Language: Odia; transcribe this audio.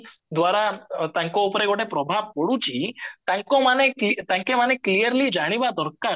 ଦ୍ଵାରା ତାଙ୍କ ଉପରେ ଗୋଟେ ପ୍ରଭାବ ପଡୁଚି clearly ଜାଣିବା ଦରକାର